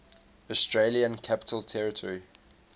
australian capital territory